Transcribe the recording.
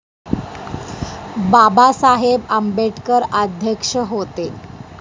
बाबासाहेब आंबेडकर अध्यक्ष होते.